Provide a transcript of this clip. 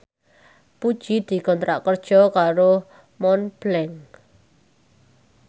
Puji dikontrak kerja karo Montblanc